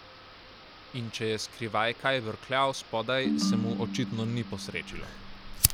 In če je skrivaj kaj brkljal spodaj, se mu očitno ni posrečilo.